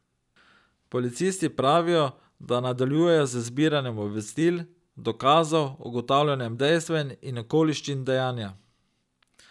Policisti pravijo, da nadaljujejo z zbiranjem obvestil, dokazov, ugotavljanjem dejstev in okoliščin dejanja.